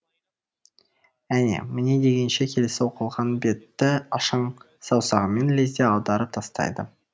әне міне дегенше келесі оқылған бетті ашаң саусағымен лезде аударып тастайды